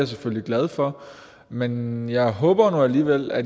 selvfølgelig glad for men jeg håber nu alligevel at